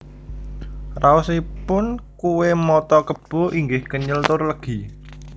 Raos ipun kué mata kebo inggih kenyel tur legi